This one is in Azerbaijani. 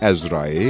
Əzrail.